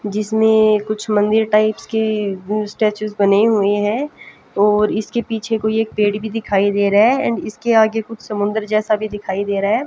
जिसमे कुछ मंदिर टाइप की स्टेचुस बने हुए हैं और इसके पीछे कोई एक पेड़ भी दिखाई दे रहा है एंड इसके आगे कुछ समुद्र जैसा भी दिखाई दे रहा है।